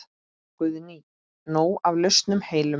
Guðný: Nóg af lausum hellum?